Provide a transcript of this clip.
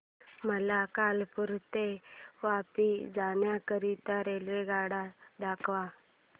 मला कालुपुर ते वापी जाण्या करीता रेल्वेगाड्या दाखवा